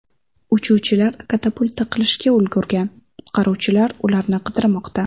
Uchuvchilar katapulta qilishga ulgurgan, qutqaruvchilar ularni qidirmoqda.